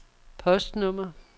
postnummer